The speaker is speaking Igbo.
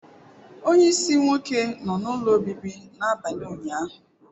Onye isi nwoke nọ n'ụlọ obibi n'abalị ụnyaahụ.